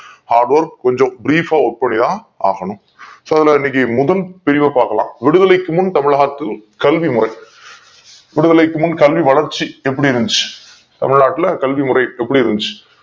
ஆக கொஞ்சோம் brief அ ஒப்படையா ஆகணும் so அதுல இன்னக்கி முதல் பிரிவு பாக்கலாம் விடுதலைக்கு முன் தமிழகத்தின் கல்வி முறை விடுதலைக்கு முன் கல்வி வளர்ச்சி எப்டி இருந்துச்சி தமிழ்நாட்டுல க ல்வி முறை எப்டி இருந்துச்சி